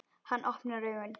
Hann opnar augun.